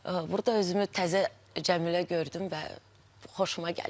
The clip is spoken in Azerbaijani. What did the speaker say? Burda özümü təzə Cəmilə gördüm və xoşuma gəldi.